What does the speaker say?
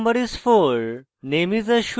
roll no is: 4